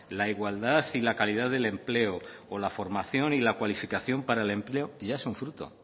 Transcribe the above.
la igualdad y la calidad del empleo o la formación y la cualificación para el empleo ya es un fruto